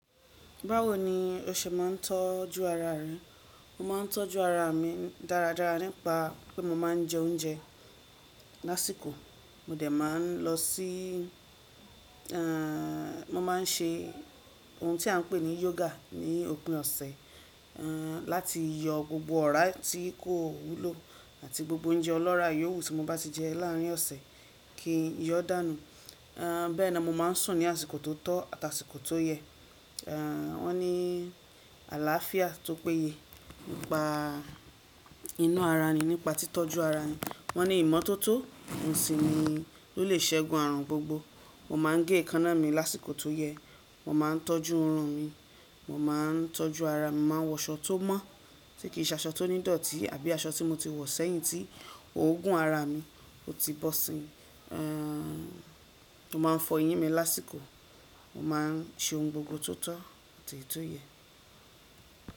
Báwo ni o ṣe ma ń tọ́jú ara rẹ? Mo ma ń tọ́jú ara mi dáradára nípa pé mo máa ń jẹ oúnjẹ lásìkò. Mo dẹ̀ má a ń lọ sí i, ehn, mo ma ń ṣe ohun tí à ń pè ní yoga ní òpin ọ̀sẹ̀, ehn, láti yọ gbogbo ọ̀rá tí kò wúlò àti gbogbo oúnjẹ ọlọ́ràá yòwú tí mo bá ti jẹ láàrin ọ̀sẹ̀ kí yọ dànù. Ehn, bẹ́ẹ̀ ni mo má a ń sùn ní àsìkò tó tọ́ àti àsìkò tó yẹ. Ehn, wọ́n ní àlàáfíà tó péye nípa inú ara ni nípa tí tọ́jú ara ni. Wọ́n ní ìmọ́tótó oun sì ni ló lè ṣẹgun àrùn gbogbo. Mo ma ń gé èékánná mi lásìkò tó yẹ. Mo ma ń tọ́jú irun mi. Mo ma ń tọ́jú ara mi. Mo ma ń wọ aṣọ tó mọ́ tí kì í ṣe aṣọ tí ó nídọ̀tí àbí aṣọ tí mo ti wọ̀ sẹ́yìn tí ó gún ara mi, ó ti bọ́ sí i. Ehn, mo ma ń fọ eyín mi lásìkò. Mo ma ń ṣe ohun gbogbo tó tọ́ àti èto yẹ́.